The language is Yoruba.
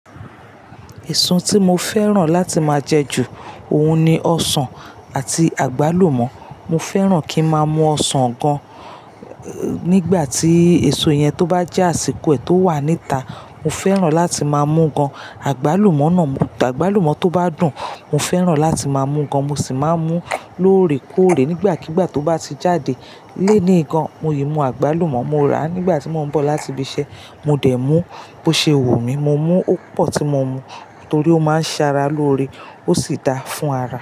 Èso tí mo fẹ́ràn láti máa jẹ ju, òun ni ọsàn àti àgbálùmọ̀. Mo fẹ́ràn kí máa mú ọsàn gan, nígbà tí èso yẹn tó bá jẹ́ àsìkò ẹ̀ tó wà níta, mo fẹ́ràn láti máa mú gan. Àgbálùmọ̀ náà, àgbálùmọ̀ tó bá dùn, mo fẹ́ràn láti máa mú gan. Mo sì máa mú lóore kóòre nígbàkigbà tó bá ti jáde. Léní gan, mo yìí mú àgbálùmọ̀, mo rà á nígbà tí mọ́ ń bọ̀ láti ibi iṣẹ́, mo dẹ̀ mú. Bo ṣe wumí, mo mú ó pọ̀ tí mo mu, torí ó máa ń ṣaara lóore, ó sì da fún ara.